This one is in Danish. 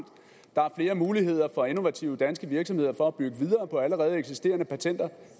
der er flere muligheder for innovative danske virksomheder for at bygge videre på allerede eksisterende patenter